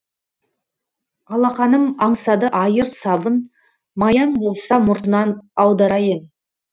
алақаным аңсады айыр сабын маяң болса мұртынан аударайын